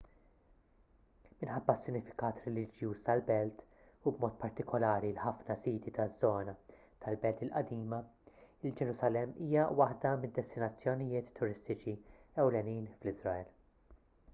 minħabba s-sinifikat reliġjuż tal-belt u b'mod partikolari l-ħafna siti taż-żona tal-belt il-qadima il-ġerusalemm hija waħda mid-destinazzjonijiet turistiċi ewlenin fl-iżrael